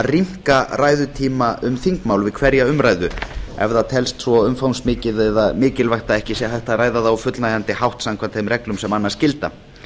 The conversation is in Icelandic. rýmka ræðutíma um þingmál við hverja umræðu ef það telst svo umfangsmikið eða mikilvægt að ekki sé hægt að ræða það á fullnægjandi hátt samkvæmt þeim reglum sem annars gilda